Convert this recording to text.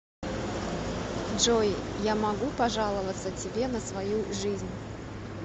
джой я могу пожаловаться тебе на свою жизнь